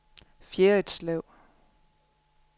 Fjerritslev